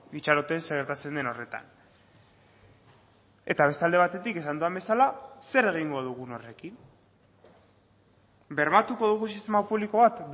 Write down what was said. itxaroten zer gertatzen den horretan eta beste alde batetik esan dudan bezala zer egingo dugun horrekin bermatuko dugu sistema publiko bat